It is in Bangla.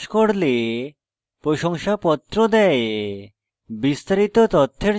online পরীক্ষা pass করলে প্রশংসাপত্র দেয়